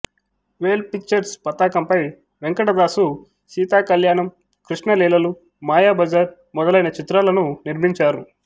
వేల్ Pictures పతాకంపై వెంకటదాసు సీతాకళ్యాణం కృష్ణలీలలు మాయాబజార్ మొదలైన చిత్రాలను నిర్మించారు